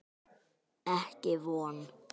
Ekki von.